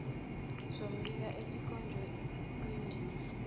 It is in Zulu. sombiko esikhonjwe kwindima